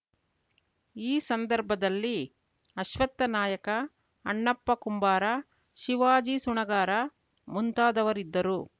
ಈ ಸಂದರ್ಭದಲ್ಲಿ ಅಶ್ವತ್ಥ ನಾಯ್ಕ ಅಣ್ಣಪ್ಪ ಕುಂಬಾರ ಶಿವಾಜಿ ಸುಣಗಾರ ಮುಂತಾದವರಿದ್ದರು